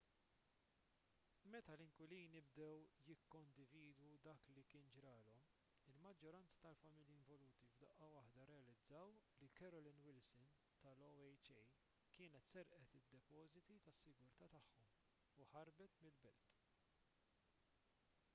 meta l-inkwilini bdew jikkondividu dak li kien ġralhom il-maġġoranza tal-familji involuti f'daqqa waħda rrealizzaw li carolyn wilson tal-oha kienet serqet id-depożiti tas-sigurtà tagħhom u ħarbet mill-belt